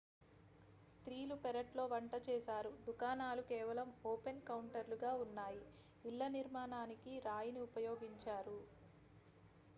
స్త్రీలు పెరట్లో వంట చేశారు దుకాణాలు కేవలం ఓపెన్ కౌంటర్లు గా ఉన్నాయి ఇళ్ల నిర్మాణానికి రాయిని ఉపయోగించారు